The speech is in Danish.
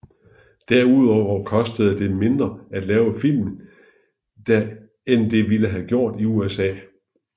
Derudover kostede det mindre at lave filmen der end det ville have gjort i USA